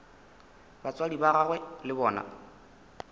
batswadi ba gagwe le bona